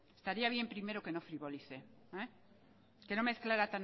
estaría bien primero que no puntualice que no mezclara